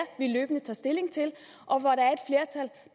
vi løbende tager stilling til